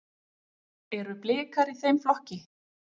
Eru Blikar í þeim flokki?